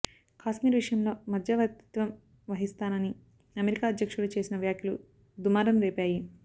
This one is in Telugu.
కశ్మీర్ విషయంలో మధ్యవర్తిత్వం వహిస్తానని అమెరికా అధ్యక్షుడు చేసిన వ్యాఖ్యలు దుమారం రేపాయి